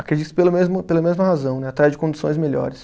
Acredito que pelo mesmo, pela mesma razão né, atrás de condições melhores.